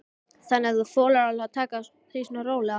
Þannig að þú þolir alveg að taka því svona rólega?